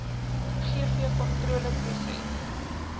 gvkontroleproses